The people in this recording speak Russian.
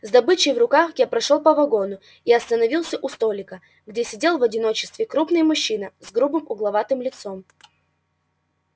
с добычей в руках я прошёл по вагону и остановился у столика где сидел в одиночестве крупный мужчина с грубым угловатым лицом